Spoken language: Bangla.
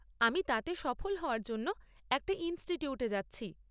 আমি তাতে সফল হওয়ার জন্য একটা ইনস্টিটিউটে যাচ্ছি।